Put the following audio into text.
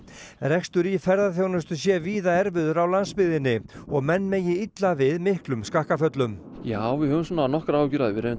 rekstur í ferðaþjónustu sé víða erfiður á landsbyggðinni og menn megi illa við miklum skakkaföllum já við höfum svona nokkrar áhyggjur af því við